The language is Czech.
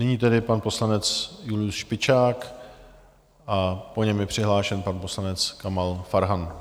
Nyní tedy pan poslanec Julius Špičák a po něm je přihlášen pan poslanec Kamal Farhan.